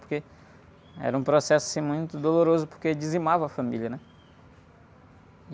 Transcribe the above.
Porque era um processo, assim, muito doloroso, porque dizimava a família, né?